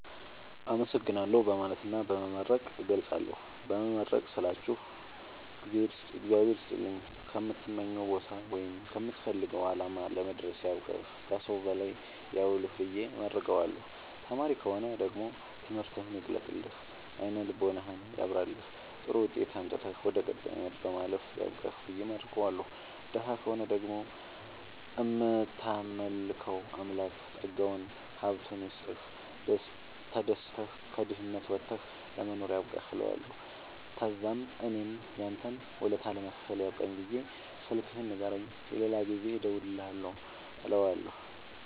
አመሠግናለሁ በማለትና በመመረቅ እገልፃለሁ። በመመረቅ ስላችሁ እግዚአብሄር ይስጥልኝ ከምትመኘዉ ቦታወይም ከምትፈልገዉ አላማ ለመድረስያብቃህ ከሠዉ በላይ ያዉልህብየ እመርቀዋለሁ። ተማሪ ከሆነ ደግሞ ትምህርትህን ይግለጥልህ አይነ ልቦናህን ያብራልህ ጥሩዉጤት አምጥተህ ወደ ቀጣይ አመት ለማለፍ ያብቃህ ብየ እመርቀዋለሁ። ደሀ ከሆነ ደግሞ እምታመልከዉ አምላክ ጠጋዉን ሀብቱይስጥህ ተደስተህ ከድህነት ወተህ ለመኖር ያብቃህእለዋለሁ። ተዛምእኔም ያንተን ወለታ ለመክፈል ያብቃኝ ብየ ስልክህን ንገረኝ የሌላ ጊዜ እንድደዉልልህ እለዋለሁ